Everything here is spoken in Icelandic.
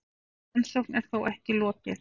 Rannsókn er þó ekki lokið.